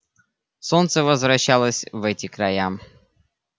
солнце возвращалось в эти края